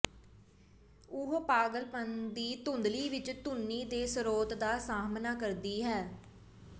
ਉਹ ਪਾਗਲਪਣ ਦੀ ਧੁੰਦਲੀ ਵਿਚ ਧੁਨੀ ਦੇ ਸਰੋਤ ਦਾ ਸਾਹਮਣਾ ਕਰਦੀ ਹੈ